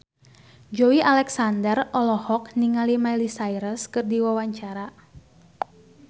Joey Alexander olohok ningali Miley Cyrus keur diwawancara